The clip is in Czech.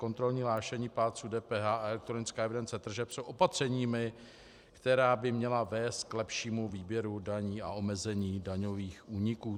Kontrolní hlášení plátců DPH a elektronická evidence tržeb jsou opatřeními, která by měla vést k lepšímu výběru daní a omezení daňových úniků.